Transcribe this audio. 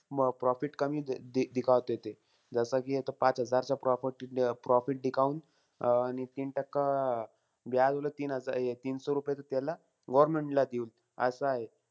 म profit कमीचं आहे दि दिखावते ते. जसं कि यांचं पाच हजारचं profit profit दिखाऊन अं आणि तीन टक्का अं उलट ती तीनसो रुपये तर त्याला, government ला देऊ.